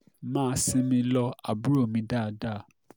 mà á sinmi lo àbúrò mi dáadáa